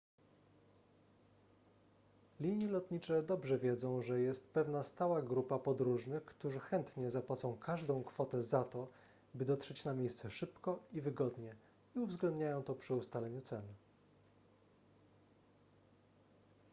linie lotnicze dobrze wiedzą że jest pewna stała grupa podróżnych którzy chętnie zapłacą każdą kwotę za to by dotrzeć na miejsce szybko i wygodnie i uwzględniają to przy ustalaniu cen